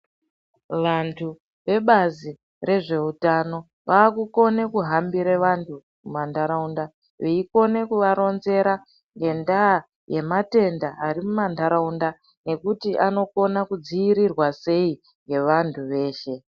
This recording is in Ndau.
Vantu vebazi rezveutano vaakukona kuhambira vantu mumantharaunda, veikona kuvaronzera ngendaa yematenda ari muma ntharaunda nekuti anokona kudziirirwa sei ngevanthu veshe?